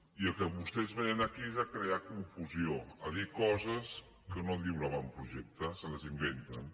i al que vostès vénen aquí és a crear confusió a dir coses que no diu l’avantprojecte se les inventen